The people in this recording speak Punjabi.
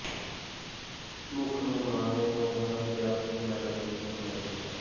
ਮੁੱਖ ਮਹਿਮਾਨ ਨੇ ਹੋਣਹਾਰ ਵਿਦਿਆਰਥੀਆਂ ਨੂੰ ਮੈਡਲ ਦੇ ਕੇ ਸਨਮਾਨਿਤ ਕੀਤਾ